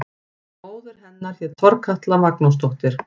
Móðir hennar hét Þorkatla Magnúsdóttir.